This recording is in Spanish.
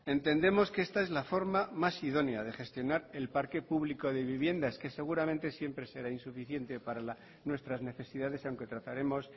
entendemos que esta es la forma más idónea de gestionar el parque público de vivienda es que seguramente siempre será insuficiente para nuestras necesidades aunque trataremos